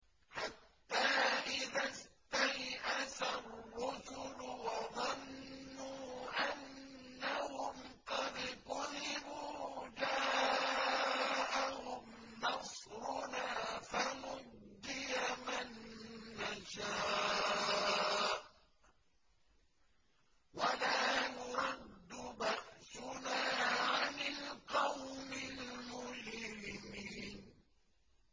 حَتَّىٰ إِذَا اسْتَيْأَسَ الرُّسُلُ وَظَنُّوا أَنَّهُمْ قَدْ كُذِبُوا جَاءَهُمْ نَصْرُنَا فَنُجِّيَ مَن نَّشَاءُ ۖ وَلَا يُرَدُّ بَأْسُنَا عَنِ الْقَوْمِ الْمُجْرِمِينَ